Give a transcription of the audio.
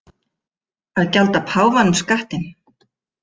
Að gjalda páfanum skattinn